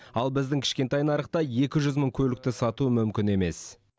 ал біздің кішкентай нарықта екі жүз мың көлікті сату мүмкін емес